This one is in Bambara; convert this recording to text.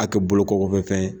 A kɛ bolo kɔfɛ fɛn ye